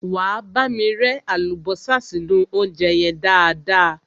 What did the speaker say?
Wá bámi rẹ́ àlùbọ́sà sínú óúnjẹ yẹn dáadáa.